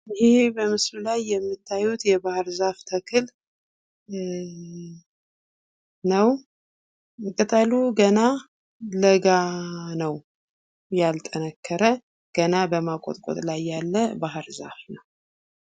ይሄ በምስሉ ላይ የምታዩት የባህር ዛፍ ተክል ነው። ቅጠሉ ገና ለጋ ነው ያልጠነከረ ገና በማቆጥቆጥ ላይ ያለ ባህርዛፍ ነው።